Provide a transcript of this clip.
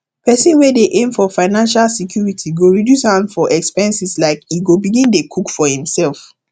pesin wey dey aim for financial security go reduce hand for expenseslike e go begin dey cook food em self